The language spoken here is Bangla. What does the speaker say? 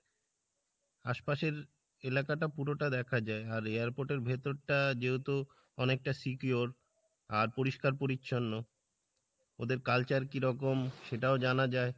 আশপাশের এলাকা টা পুরো টা দেখা যাই আর airport এর ভেতর টা যেহেতু অনেকটা secure আর পরিষ্কার পরিচ্ছন্ন ওদের culture কিরকম সেটাও জানা যাই,